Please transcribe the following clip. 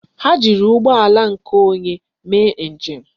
Ha jiri ụgbọala nke onye mee njem.